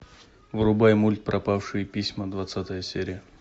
врубай мульт пропавшие письма двадцатая серия